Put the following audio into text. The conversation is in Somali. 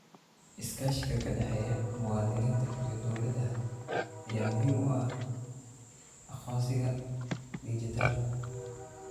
Iskaashiga ka dhexeeya muwaadiniinta iyo dawladaha ayaa muhiim u ah aqoonsiga dhijitaalka ah.